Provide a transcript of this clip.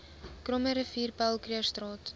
krommerivier paul krugerstraat